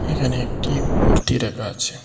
এখানে একটি মূর্তি রাখা আছে।